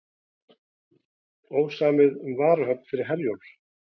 Ósamið um varahöfn fyrir Herjólf